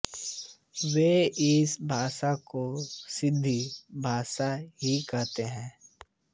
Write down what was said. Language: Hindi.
वो इस भाषा को सिन्धी भाषा ही कहते हैं